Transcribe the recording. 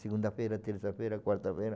Segunda-feira, terça-feira, quarta-feira.